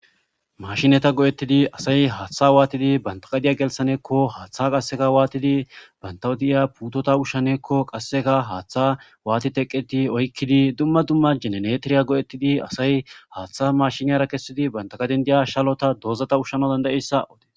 Maashinetha go7eththidi asay haaththaa waathidi banththa gadiyaa gelissaneekko haaththaa waathidi banththawu diya puuthotha ushshanee qassika haaththaa waathi teqeththi oykkidi dumma dumma genereteriya go7ethizi asay haaththaa maashiniyaara kessidi banththa gaden diya shalotha doozatha ushshanawu dandda7issa.